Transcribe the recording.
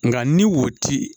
Nka ni wo ti